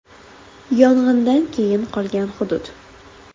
Yong‘indan keyin qolgan hudud.